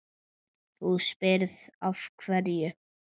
Þú spyrð af hverju.